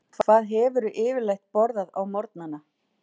Björn: Hvað hefurðu yfirleitt borðað á morgnanna?